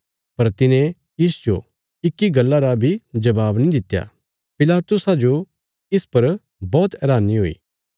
पर तिने तिसजो इक्की गल्ला रा बी जबाब नीं दित्या पिलातुसा जो इस पर बौहत हैरानी हुई